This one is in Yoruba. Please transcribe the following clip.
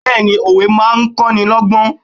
Bẹẹni òwe máa ń kọ́ni lọ́gbọ́n.